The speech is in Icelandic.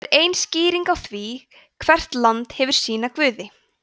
það er ein skýringin á því að hvert land hefur sína guði